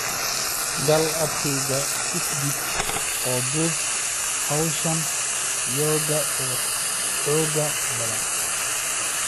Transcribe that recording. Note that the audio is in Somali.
gal abkayga fitbit oo duub hawshan yoga ee xoogga badan